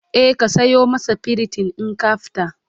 e ka sayo masa priton in ka fita